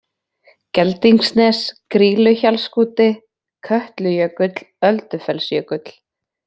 Geldingsnes, Grýluhjallsskúti, Kötlujökull, Öldufellsjökull